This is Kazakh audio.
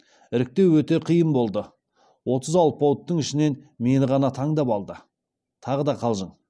іріктеу өте қиын болды отыз алпауыттың ішінен мені ғана таңдап алды тағы да қалжың